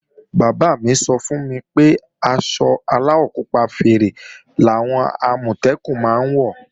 Bàbá mí sọ fún mi pé aṣọ aláwọ̀ pupa fẹ́rẹ́ làwọn Àmọ̀tẹ́kùn máa ń wọ̀